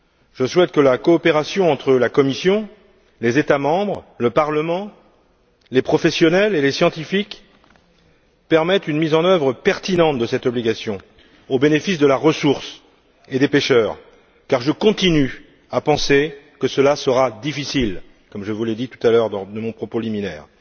Je souhaite que la coopération entre la Commission, les États membres, le Parlement, les professionnels et les scientifiques permette une mise en œuvre pertinente de cette obligation, au bénéfice de la ressource et des pêcheurs, car je continue à penser que cela sera difficile, comme je vous l'ai dit tout à l'heure lors de mon propos liminaire.